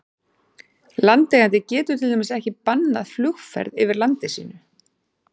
Landeigandi getur til dæmis ekki bannað flugumferð yfir landi sínu.